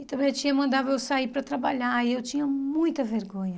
E também a tia mandava eu sair para trabalhar e eu tinha muita vergonha.